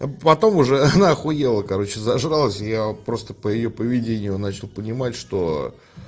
а потом уже она ахуела короче зажралась я просто по её поведению начал понимать что